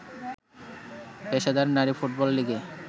পেশাদার নারী ফুটবল লিগে